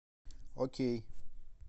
окей